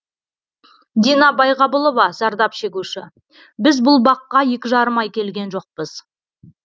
дина байғабылова зардап шегуші біз бұл баққа екі жарым ай келген жоқпыз